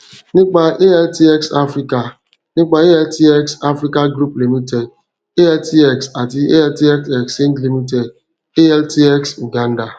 nipa altx africa nipa altx africa group ltd altx ati alt xchange ltd altx uganda